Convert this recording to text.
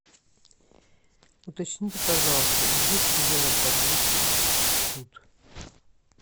уточните пожалуйста есть ли велопрогулки тут